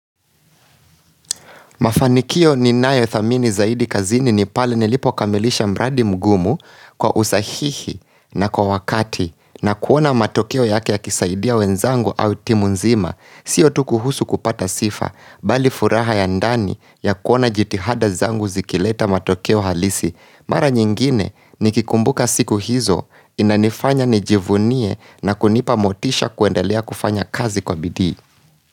Mafanikio ni nayo thamini zaidi kazini ni pale nilipo kamilisha mradi mgumu kwa usahihi na kwa wakati na kuona matokeo yake ya kisaidia wenzangu au timu nzima. Sio tukuhusu kupata sifa bali furaha ya ndani ya kuona jitihada zangu zikileta matokeo halisi. Mara nyingine ni kikumbuka siku hizo inanifanya nijivunie na kunipa motisha kuendelea kufanya kazi kwa bidii.